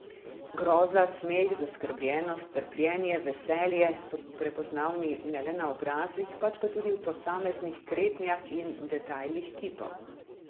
Groza, smeh, zaskrbljenost, trpljenje, veselje so prepoznavni ne le na obrazih, pač pa tudi v posameznih kretnjah in detajlih kipov.